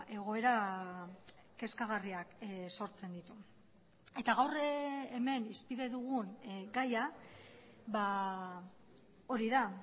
egoera kezkagarriak sortzen ditu eta gaur hemen hizpide dugun gaia hori da